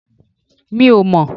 Mi ò mọ̀n